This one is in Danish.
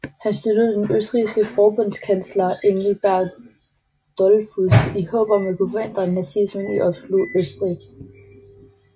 Han støttede den østrigske forbundskansler Engelbert Dollfuß i håb om at kunne forhindre nazismen i at opsluge Østrig